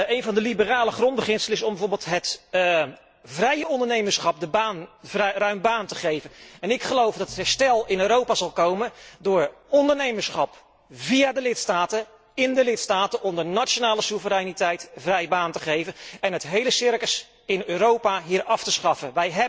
Een van de liberale grondbeginselen is bijvoorbeeld om het vrije ondernemerschap ruim baan te geven. Ik geloof dat het herstel in Europa er zal komen door het ondernemerschap via de lidstaten, in de lidstaten, onder nationale soevereiniteit, vrij baan te geven en het hele circus in Europa hier af te schaffen.